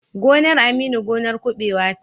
Gonar Aminu gonar kuɓewa ce.